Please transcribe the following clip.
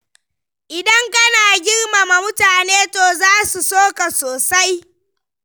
Idan kana girmama mutane to za su so ka sosai.